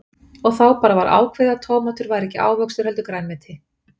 Og þá bara var ákveðið að tómatur væri ekki ávöxtur heldur grænmeti.